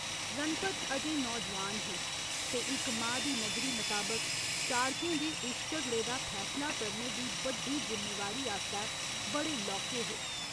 रणपत अजें नौजोआन हे ते इक मां दी नजरी मताबक चाड़कें दे उस झगड़े दा फैसला करने दी बड्डी जिम्मेवारी आस्तै बड़े लौह्के हे।